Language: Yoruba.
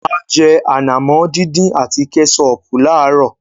A jẹ ànàmọ́ dín dín àti Kẹ́sọọ̀pù láàárọ̀.